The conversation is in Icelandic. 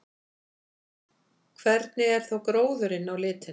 Hvernig er þá gróðurinn á litinn?